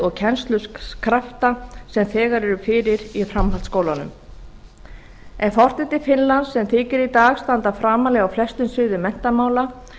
og kennslukrafta sem þegar eru fyrir í framhaldsskólunum ef horft er til finnlands sem þykir í dag standa framarlega á flestum sviðum menntamála